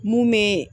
Mun be